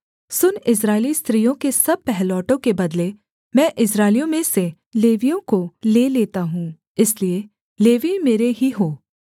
सुन इस्राएली स्त्रियों के सब पहिलौठों के बदले मैं इस्राएलियों में से लेवियों को ले लेता हूँ इसलिए लेवीय मेरे ही हों